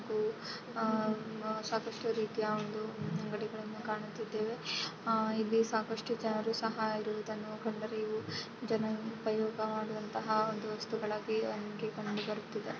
ಹಾಗು ಆಹ್ಹ್ ಆಹ್ಹ್ ಸಾಕಷ್ಟು ರೀತಿಯ ಅಂಗಡಿಗಳನ್ನು ಕಾಣುತ್ತಿದ್ದೇವೆ-- ಇಲ್ಲಿ ಸಾಕಷ್ಟು ಜನರು ಸಹ ಇರುವುದನ್ನು ಜನರು ಉಪಯೋಗ ಮಾಡುವಂತಹ ಒಂದು ವಸ್ತುಗಳಾಗಿ ಕಂಡುಬರುತ್ತಿದೆ.